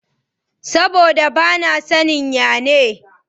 Saboda ba na saniya ne.